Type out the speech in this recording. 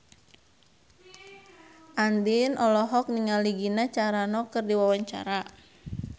Andien olohok ningali Gina Carano keur diwawancara